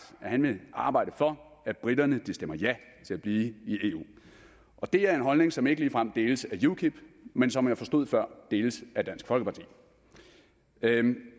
at han vil arbejde for at briterne stemmer ja til at blive i eu og det er en holdning som ikke ligefrem deles af ukip men som jeg forstod før deles af dansk folkeparti